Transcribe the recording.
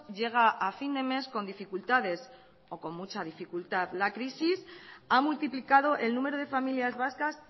llega a fin de mes con dificultades o con mucha dificultad la crisis ha multiplicado el número de familias vascas